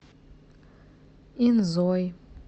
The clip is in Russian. инзой